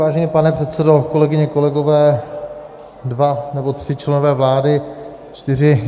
Vážený pane předsedo, kolegyně, kolegové, dva nebo tři členové vlády, čtyři.